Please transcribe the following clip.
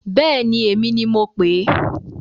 Bẹ́èni, èmi ni mo pèé.